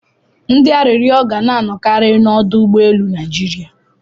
Ndị arịrịọ ga na-anọkari n'ọdụ ụgbọ elu Naịjiria.